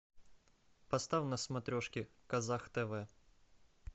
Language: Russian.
поставь на смотрешке казах тв